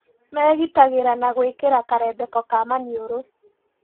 Megitagĩra na gwĩkĩra karembeko ka maniũrũ